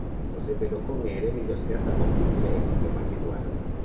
Osebedo kong'ere ni josiasa ok winjre e kombe magidwaro.